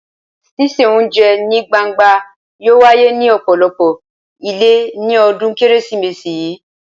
Ṣíṣe oúnjẹ ní gbangba yóò wáyé ní ọ̀pọ̀lọpọ̀ ilé ní ọdún Kérésìmesì yìí.